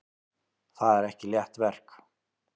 Það er ekki létt verk.